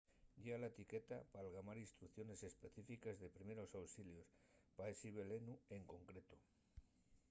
llea la etiqueta p'algamar instrucciones específiques de primeros auxilios pa esi velenu en concreto